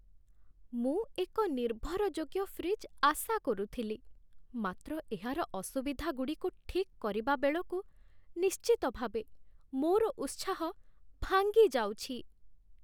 ମୁଁ ଏକ ନିର୍ଭରଯୋଗ୍ୟ ଫ୍ରିଜ୍ ଆଶା କରୁଥିଲି, ମାତ୍ର ଏହାର ଅସୁବିଧାଗୁଡ଼ିକୁ ଠିକ୍ କରିବାବେଳକୁ ନିଶ୍ଚିତ ଭାବେ ମୋର ଉତ୍ସାହ ଭାଙ୍ଗିଯାଉଛି ।